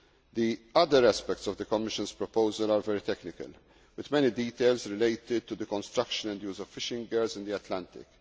The other aspects of the Commission's proposal are very technical, with many details related to the construction and use of fishing gears in the Atlantic.